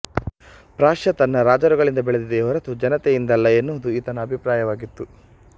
Prussia ತನ್ನ ರಾಜರುಗಳಿಂದ ಬೆಳೆದಿದೆಯೇ ಹೊರತು ಜನತೆಯಿಂದಲ್ಲ ಎನ್ನುವುದು ಈತನ ಅಭಿಪ್ರಾಯವಾಗಿತ್ತು